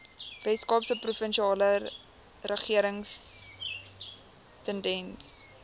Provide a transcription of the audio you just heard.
weskaapse provinsiale regeringstenders